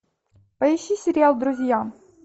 поищи сериал друзья